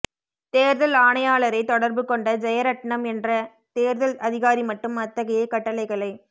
தேர்தல் ஆணையாளரைத் தொடர்பு கொண்ட ஜெயரட்ணம் என்ற தேர்தல் அதிகாரிமட்டும் அத்தகைய கட்டளைகளை